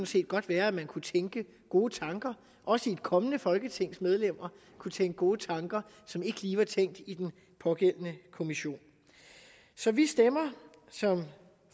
set godt være at man kunne tænke gode tanker at også et kommende folketings medlemmer kunne tænke gode tanker som ikke lige var tænkt i den pågældende kommission så vi stemmer som